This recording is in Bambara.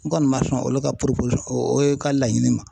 N kɔni ma sɔn olu ka o ye ka laɲini ma